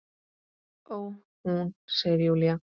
Ó, hún, segir Júlía.